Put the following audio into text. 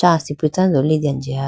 acha asipi tando litene jiya.